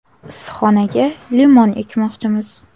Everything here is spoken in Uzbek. Issiqxonaga limon ekmoqchimiz.